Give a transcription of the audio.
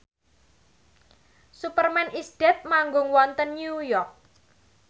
Superman is Dead manggung wonten New York